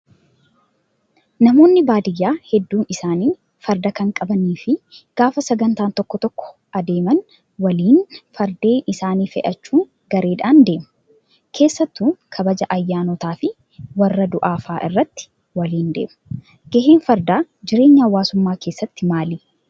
Namoonni baadiyyaa hedduun isaanii farda kan qabanii fi gaafa sagantaa tokko tokko adeeman waliin fardeen isaanii fe'achuun gareedhaan deemu. Keessattuu kabaja ayyaanotaa fi warra du'aa fa'aa irratti waliin deemu. Gaheen fardaa jireenya hawaasummaa keessatti maali?